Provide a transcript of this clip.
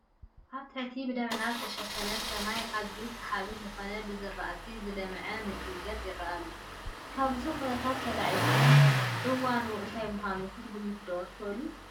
ኣብ ትሕቲ ብደመና ዝተሸፈነ ሰማይ ኣዝዩ ሰሓቢ ዝኾነ ብዝራእቲ ዝለምዓ ምድረ ገፅ ይርአ ኣሎ፡፡ ካብዚ ኩነታት ተላዒልኩም እዋኑ እንታይ ምዃኑ ክትግምቱ ዶ ትኽእሉ?